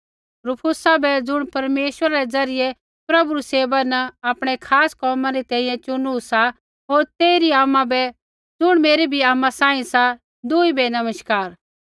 रुफुस बै ज़ुण परमेश्वरा रै ज़रियै प्रभु री सेवा न आपणै खास कोम केरनै री तैंईंयैं चुनु सा होर तेइरी आमा बै ज़ुण मेरी भी आमा सांही सा दुई बै नमस्कार